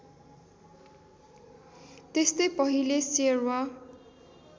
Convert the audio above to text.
त्यस्तै पहिले श्यरवा